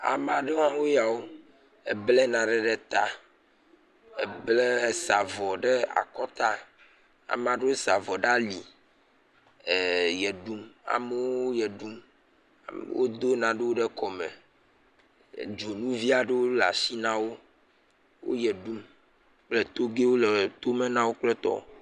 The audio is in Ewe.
Ame aɖe woe yawo ebla nane ɖe ta, ebla , Ede avɔ ɖe ta. Ame aɖewo da avɔ ɖe ali ɣe ɖum. Wodo nanewo ɖe kɔ me. Dzonuvi aɖewo le asi nawò. Wo ɣe ɖum kple toge le tome nawò kple tɔwo